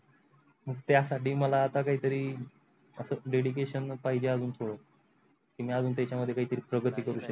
त्या साठी मला आता काहीतरी Dedication पाहिजे अजून थोड कि मी अजून त्याचा मध्ये काही तरी प्रगती करू सकेन.